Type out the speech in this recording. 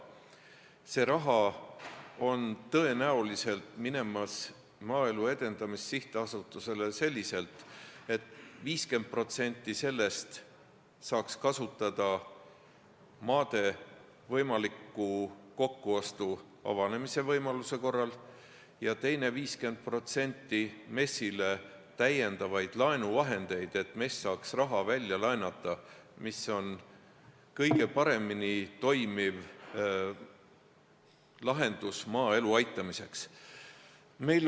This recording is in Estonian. See raha on tõenäoliselt minemas Maaelu Edendamise Sihtasutusele selliselt, et 50% sellest saaks kasutada maade kokkuostu võimaluse avanemise korral ja teine 50% on MES-i täiendavad laenuvahendid, et MES saaks raha välja laenata, mis on kõige paremini toimiv lahendus maaelu aitamiseks.